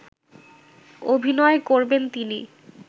অভিনয় করবেন তিনি